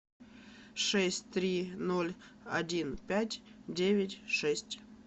шесть три ноль один пять девять шесть